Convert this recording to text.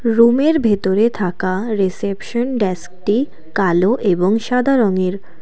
রুমের ভেতরে থাকা রিসেপশন ডেস্কটি কালো এবং সাদা রঙের।